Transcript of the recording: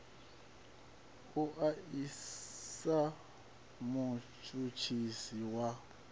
u o isisa mutshutshisi wa